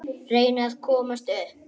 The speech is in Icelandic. Reyna að komast upp.